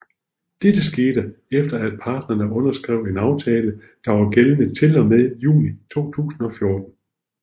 Dette skete efter af parterne underskrev en aftale der var gældende til og med juni 2014